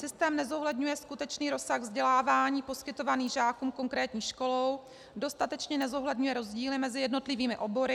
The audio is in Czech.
Systém nezohledňuje skutečný rozsah vzdělávání poskytovaný žákům konkrétní školou, dostatečně nezohledňuje rozdíly mezi jednotlivými obory.